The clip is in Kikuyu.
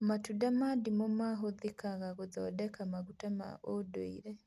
Matunda ma ndimũ mahũthĩkaga gũthondeka maguta ma ũndũire